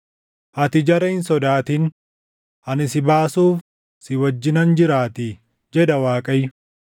Ati jara hin sodaatin; ani si baasuuf si wajjinan jiraatii” jedha Waaqayyo.